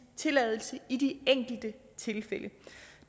tilladelse i de enkelte tilfælde